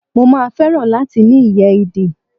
Mo máa fẹ́ràn láti ní ìyẹ́ ìdì.